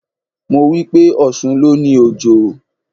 Mo wípé: Ọ̀ṣun ló ni Òjò.